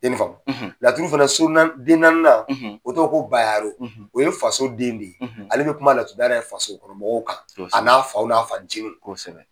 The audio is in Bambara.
I ye nin faamu, laturu fana so naani den naani o tɔgɔ ko Bayaro o ye faso den de ye ale bɛ kuma laturudala yɛrɛ faso kɔnɔ mɔgɔw kan a n'a faw n'a fanjiniw kosɛbɛ.